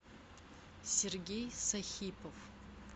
сергей сахипов